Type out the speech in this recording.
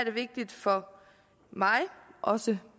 er vigtigt for mig også